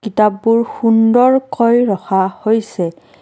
কিতাপবোৰ সুন্দৰকৈ ৰখা হৈছে।